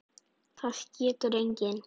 Það getur enginn.